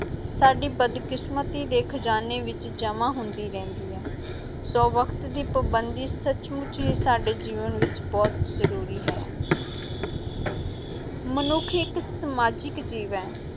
ਸਾਡੀ ਬਦਕਿਸਮਤੀ ਦੇ ਖਜ਼ਾਨੇ ਵਿੱਚ ਜਮ੍ਹਾਂ ਹੁੰਦੀ ਰਹਿੰਦੀ ਹੈ, ਸੋ ਵਕਤ ਦੀ ਪਾਬੰਦੀ ਸੱਚਮੁੱਚ ਹੀ ਸਾਡੇ ਜੀਵਨ ਵਿੱਚ ਬਹੁਤ ਜ਼ਰੂਰੀ ਹੈ ਮਨੁੱਖ ਇੱਕ ਸਮਾਜਿਕ ਜੀਵ ਹੈ।